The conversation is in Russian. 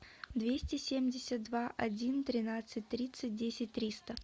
двести семьдесят два один тринадцать тридцать десять триста